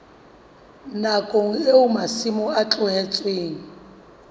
nakong eo masimo a tlohetsweng